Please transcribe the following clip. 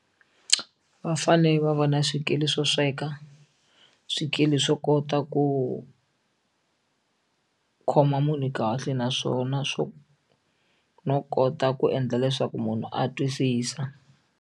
Va fane va va na swikili swo sweka swikili swo kota ku khoma munhu kahle naswona swo no kota ku endla leswaku munhu a twisisa.